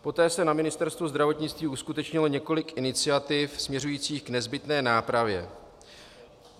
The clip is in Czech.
Poté se na Ministerstvu zdravotnictví uskutečnilo několik iniciativ směřujících k nezbytné nápravě.